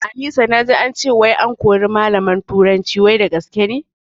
Anisa naji ance wai an kori malamin turanci wai da gaske ne?